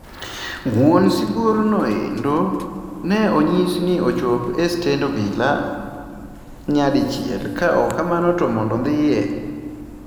Wuon sibuor no endo ne onyis ni ochop estend obila nyadichiel ka ok kamano to mond ondhiye